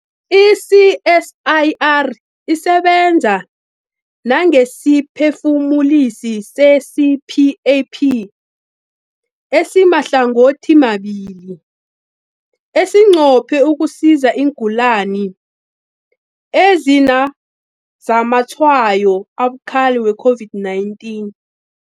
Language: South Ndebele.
I-CSIR isebenza nangesiphefumulisi se-CPAP esimahlangothimabili esinqophe ukusiza iingulani ezinazamatshwayo abukhali we-COVID-19.